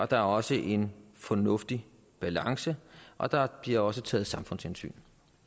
der er også en fornuftig balance og der bliver også taget samfundshensyn